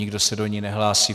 Nikdo se do ní nehlásí.